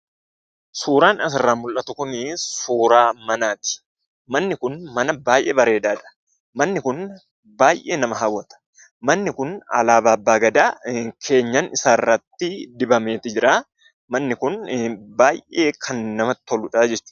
Suuraan asirraa mul'atu kunii suuraa manaati. Manni kun mana baay'ee bareedaadha. Manni kun baay'ee nama hawwata. Manni kun alaabaa abbaa gadaa keenyan isarratti dibameeti jiraa. Manni kun baay'ee kan namatti toludhaa jechuudha.